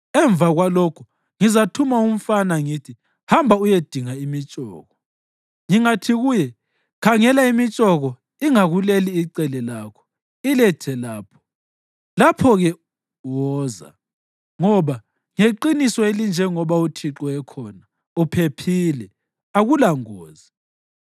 Emva kwalokho ngizathuma umfana ngithi, ‘Hamba uyedinga imitshoko.’ Ngingathi kuye, ‘Khangela, imitshoko ingakuleli icele lakho, ilethe lapha,’ lapho-ke woza, ngoba ngeqiniso elinjengoba uThixo ekhona, uphephile, akulangozi.